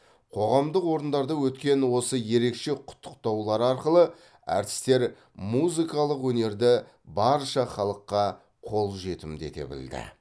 қоғамдық орындарда өткен осы ерекше құттықтаулар арқылы әртістер музыкалық өнерді барша халыққа қолжетімді ете білді